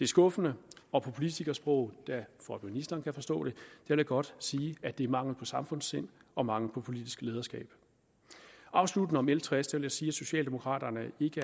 skuffende og på politikersprog for at ministeren kan forstå det vil jeg godt sige at det er mangel på samfundssind og mangel på politisk lederskab afsluttende om l tres vil jeg sige at socialdemokraterne ikke